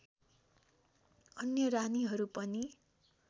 अन्य रानीहरू पनि